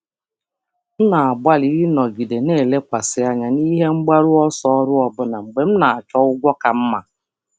Ana m agbalị ịnọgide lekwasịrị um anya na ebumnuche ọrụ ọbụlagodi mgbe m na-achọ ụgwọ ọrụ ka mma.